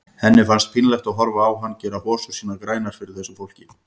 Henni fannst pínlegt að horfa á hann gera hosur sínar grænar fyrir þessu fólki.